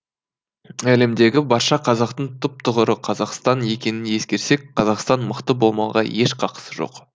әлемдегі барша қазақтың түп тұғыры қазақстан екенін ескерсек қазақстан мықты болмауға еш қақысы жоқ